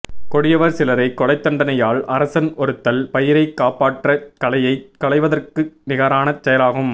கொடியவர் சிலரைக் கொலைத்தண்டனையால் அரசன் ஒறுத்தல் பயிரைக் காப்பாற்றக் களையைச் களைவதற்க்கு நிகரான செயலாகும்